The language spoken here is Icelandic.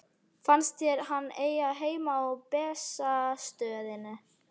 Finnst þér hann eiga heima á Bessastöðum?